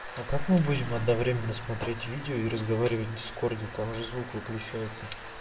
а как мы будем одновременно смотреть видео и разговаривать в дискорде там же звук выключается